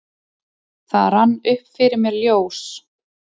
Það rann upp fyrir mér ljós: